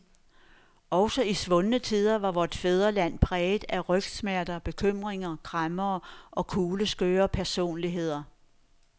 Også i svundne tider var vort fædreland præget af rygsmerter, bekymringer, kræmmere og kugleskøre personligheder.